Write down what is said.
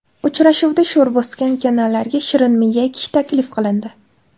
Uchrashuvda sho‘r bosgan kanallarga shirinmiya ekish taklif qilindi.